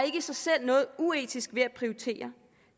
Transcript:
i sig selv noget uetisk ved at prioritere